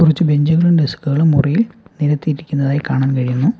കുറച്ചു ബെഞ്ചുകളും ഡെസ്ക്കുകളും മുറിയിൽ നിരത്തിയിരിക്കുന്നതായി കാണാൻ കഴിയുന്നു.